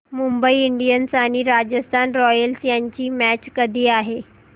Mumbai Indians आणि Rajasthan Royals यांची match कधी आहे